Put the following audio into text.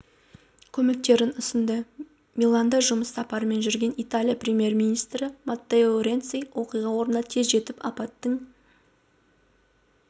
көмектерін ұсынды миланда жұмыс сапарымен жүрген италия премьер-министрі маттео ренци оқиға орнына тез жетіп апаттың